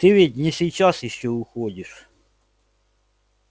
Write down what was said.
ты ведь не сейчас ещё уходишь